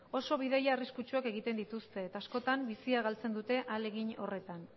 oso bidai arriskutsuak egiten dituzte eta askotan bizia galtzen dute ahalegin horretan